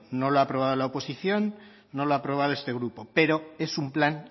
no lo ha aprobado la oposición no lo ha aprobado este grupo pero es un plan